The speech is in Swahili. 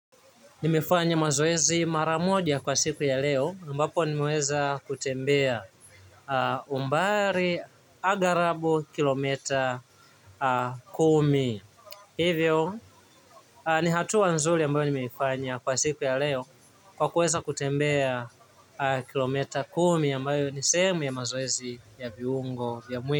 Nimefanya mazoezi mara moja kwa siku ya leo ambapo nimeweza kutembea umbali aghalabu kilo mita kumi. Hivyo, ni hatua nzuri ambayo nimeifanya kwa siku ya leo kwa kuweza kutembea kilo mita kumi ambayo ni sehemu ya mazoezi ya viungo vya mwili.